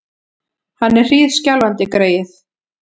Hann er hríðskjálfandi, greyið!